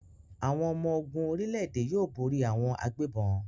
Àwọn ọmọ-ogun orílẹ̀-èdè yóò borí àwọn agbégbọn.